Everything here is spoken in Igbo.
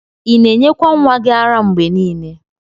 Ina enyekwa nwa gi ara mgbe nile?